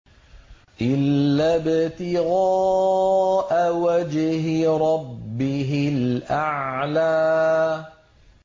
إِلَّا ابْتِغَاءَ وَجْهِ رَبِّهِ الْأَعْلَىٰ